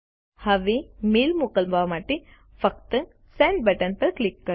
હવે મેઈલ મોકલવા માટે ફક્ત સેન્ડ બટન પર ક્લિક કરો